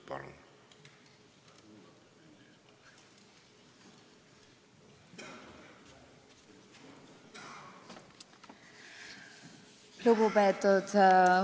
Palun!